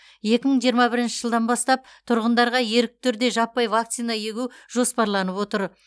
екі мың жиырма бірінші жылдан бастап тұрғындарға ерікті түрде жаппай вакцина егу жоспарланып отыр